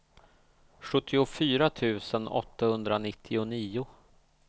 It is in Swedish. sjuttiofyra tusen åttahundranittionio